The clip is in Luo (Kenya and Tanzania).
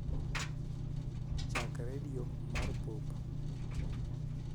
chak kar redio mar pop